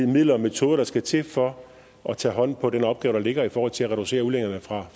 midler og metoder der skal til for at tage hånd om den opgave der ligger i forhold til at reducere udledningerne fra